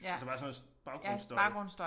Altså bare sådan noget baggrundsstøj